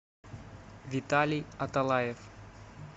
виталий аталаев